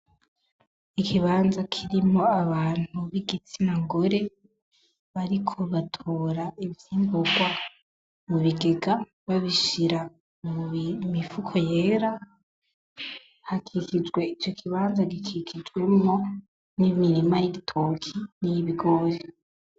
Ikibanza kirimwo abantu bigitsina gore, bariko batora ivyimburwa mu bigega babishira mu mifuko yera, hakikijwe ico kibanza gikikijwemwo n'imirima y'igitoki n'imirima y'ibigori.